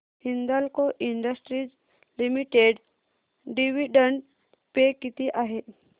Hindalco industries limited dividend pay किती आहे